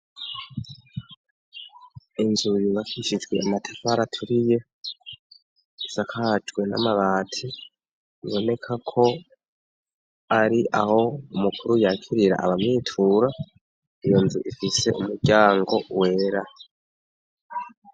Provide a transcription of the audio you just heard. Inzubi bakishizwe amatafara aturi ye isakajwe n'amabati iboneka ko ari aho umukuru yakirira abamitura iyo nzu ifise umuryango wera.